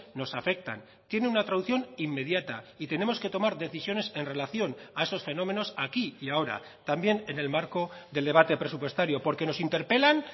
nos afectan tiene una traducción inmediata y tenemos que tomar decisiones en relación a esos fenómenos aquí y ahora también en el marco del debate presupuestario porque nos interpelan